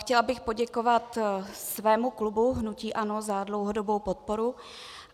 Chtěla bych poděkovat svému klubu hnutí ANO za dlouhodobou podporu.